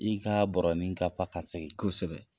I ka bɔrɔnin ka fa ka segin kosɛbɛ.